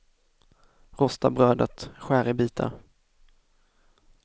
Rosta brödet, skär i bitar.